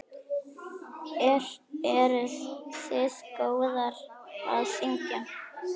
Eruð þið góðar að syngja?